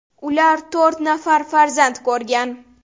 Ular to‘rt nafar farzand ko‘rgan.